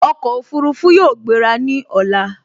Ọkọ̀ Òfurufú yóò gbera ní ọ̀la